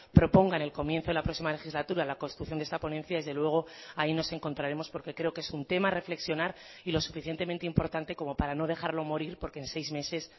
propongan el comienzo de la próxima legislatura la construcción de esta ponencia desde luego ahí nos encontraremos porque creo que es un tema a reflexionar y los suficientemente importante como para no dejarlo morir porque en seis meses